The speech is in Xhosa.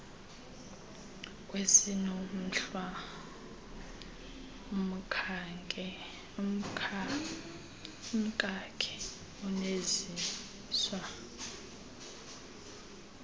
kwesiinomhlwa umkakhe uneziswa